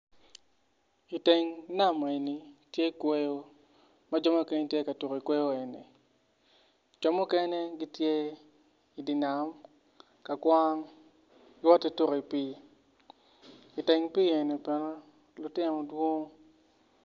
Iteng nam eni tye kweyo ma jo mukene tye ka tuko ikweyo eni jo mukene gitye idi nam ka kwang giwoti tuko i pii iteng pii eni bene lutino dwong.